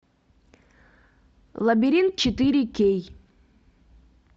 лабиринт четыре кей